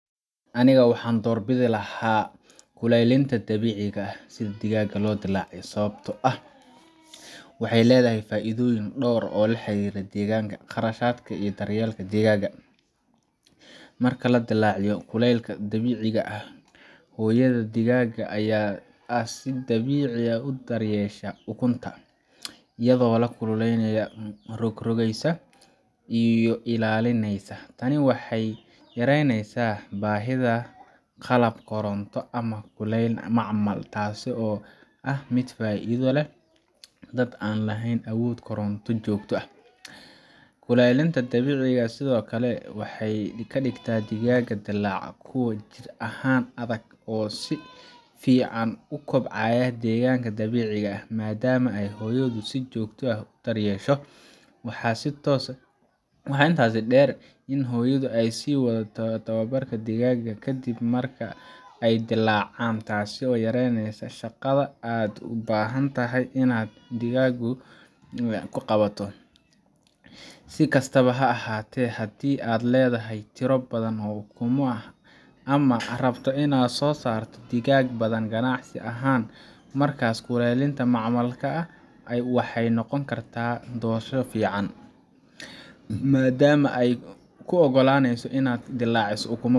Anigu waxaan doorbidi lahaa kulaylinta dabiiciga ah si digaagga loo dilaaciyo, sababtoo ah waxay leedahay faa’iidooyin dhowr ah oo la xiriira deegaanka, kharashka iyo daryeelka digaagga. Marka lagu dilaaciyo kulaylka dabiiciga ah, hooyada digaagga ah ayaa si dabiici ah u daryeesha ukunta, iyadoo kululeyneysa, rogrogaysa iyo ilaalinaysa. Tani waxay yaraynaysaa baahida qalab koronto ama kulayn macmal ah, taasoo ah mid faa’iido u leh dadka aan lahayn awood koronto joogto ah. Kulaylinta dabiiciga ah sidoo kale waxay ka dhigtaa digaagga dilaaca kuwo jidh ahaan adag oo si fiican ugu kobcaya deegaanka dabiiciga ah, maadaama ay hooyadood si joogto ah u daryeesho. Waxaa intaas dheer in ay hooyadu sii wado tarbiyadda digaagga ka dib marka ay dilaacaan, taasoo yareyneysa shaqada aad u baahan tahay inaad adigu qabato. Si kastaba ha ahaatee, haddii aad leedahay tiro badan oo ukumo ah ama aad rabto inaad soo saarto digaag badan ganacsi ahaan, markaas kulaylinta macmalka ah waxay noqon kartaa doorasho fiican, maadaama ay kuu oggolaaneyso inaad dilaaciso ukumo